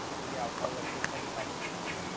એ આવતા વર્ષે ફરી પાછું થાય